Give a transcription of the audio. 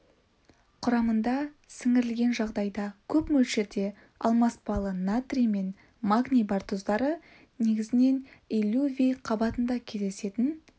құрамында сіңірілген жағдайда көп мөлшерде алмаспалы натрий мен магний бар тұздары негізінен иллювий қабатында кездесетін